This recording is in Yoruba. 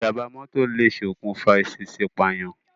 Ìjàm̀bá mọ́tọ̀ lè ṣokùnfà ìṣèèṣì pààyàn.